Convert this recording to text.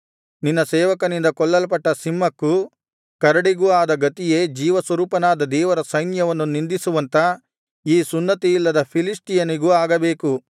ನಿನ್ನ ಸೇವಕನಿಂದ ಕೊಲ್ಲಲ್ಪಟ್ಟ ಸಿಂಹಕ್ಕೂ ಕರಡಿಗೂ ಆದ ಗತಿಯೇ ಜೀವಸ್ವರೂಪನಾದ ದೇವರ ಸೈನ್ಯವನ್ನು ನಿಂದಿಸುವಂಥ ಈ ಸುನ್ನತಿಯಿಲ್ಲದ ಫಿಲಿಷ್ಟಿಯನಿಗೂ ಆಗಬೇಕು